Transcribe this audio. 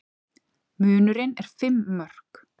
Munurinn er fimm mörk